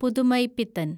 Pudhumaipithan